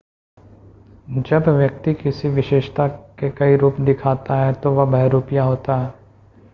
जब व्यक्ति किसी विशेषता के कई रूप दिखाता है तो वह बहुरूपिया होता है